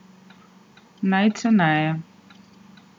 Najceneje.